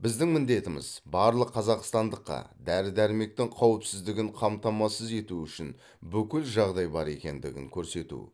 біздің міндетіміз барлық қазақстандыққа дәрі дәрмектің қауіпсіздігін қамтамасыз ету үшін бүкіл жағдай бар екендігін көрсету